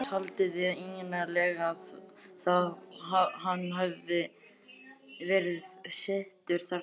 Til hvers haldiði eiginlega að hann hafi verið settur þarna?